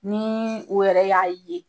Ni o yɛrɛ y'a ye